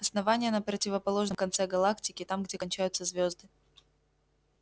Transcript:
основание на противоположном конце галактики там где кончаются звезды